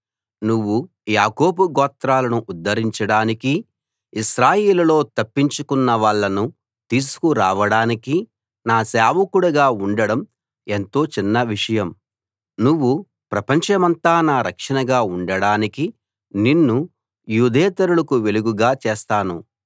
నువ్వు యాకోబు గోత్రాలను ఉద్ధరించడానికీ ఇశ్రాయేలులో తప్పించుకున్నవాళ్ళను తీసుకురావడానికీ నా సేవకుడుగా ఉండడం ఎంతో చిన్న విషయం నువ్వు ప్రపంచమంతా నా రక్షణగా ఉండడానికి నిన్ను యూదేతరులకు వెలుగుగా చేస్తాను